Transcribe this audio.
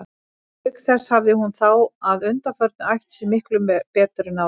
Auk þess hafði hún þá að undanförnu æft sig miklu betur en áður.